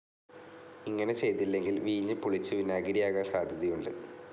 ഇങ്ങനെ ചെയ്തില്ലെങ്കിൽ വീഞ്ഞ് പുളിച്ച് വിനാഗിരിയാകാൻ സാധ്യതയുണ്ട്.